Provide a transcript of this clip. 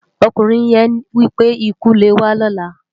Òkúnrin yén wipé: "ikú lé wá lòlá".